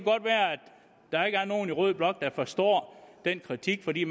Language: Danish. der ikke er nogen i rød blok der forstår den kritik for de